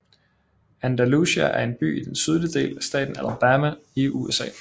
Andalusia er en by i den sydlige del af staten Alabama i USA